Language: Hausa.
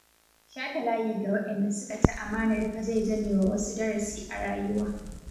Shata layi ga waɗanda suka ci amanar ka zai zamewa wasu darasi a rayuwa.